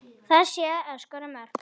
Það sé að skora mörk.